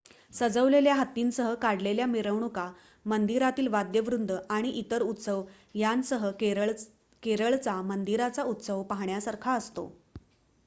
सजवलेल्या हत्तींसह काढलेल्या मिरवणुका मंदिरातील वाद्यवृंद आणि इतर उत्सव यांसह केरळचा मंदिरांचा उत्सव पाहण्यासारखा असतो